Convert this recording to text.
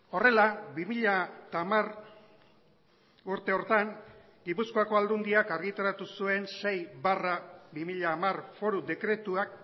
horrela bi mila hamar urte horretan gipuzkoako aldundiak argitaratu zuen sei barra bi mila hamar foru dekretuak